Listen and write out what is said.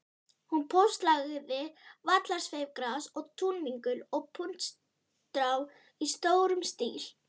Hún póstlagði vallarsveifgras og túnvingul og puntstrá í stórum stíl.